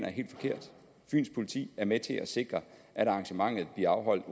er helt forkert fyns politi er med til at sikre at arrangementet bliver afholdt